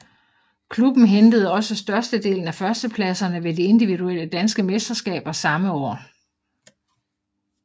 Klubben hentede også størstedelen af førstepladserne ved de individuelle danske mesterskaber samme år